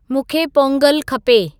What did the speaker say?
मूंखे पोंगलु खपे